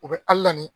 U bɛ ali